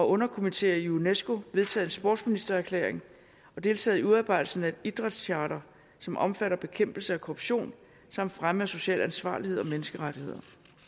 underkomiteer i unesco vedtaget en sportsministererklæring og deltaget i udarbejdelsen af et idrætscharter som omfatter bekæmpelse af korruption samt fremme af social ansvarlighed og menneskerettigheder